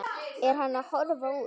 Er hann að horfa út?